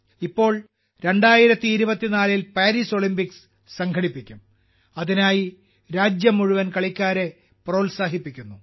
ഇപ്പോൾ 2024 ൽ Paris Olympics സംഘടിപ്പിക്കും അതിനായി രാജ്യം മുഴുവൻ കളിക്കാരെ പ്രോത്സാഹിപ്പിക്കുന്നു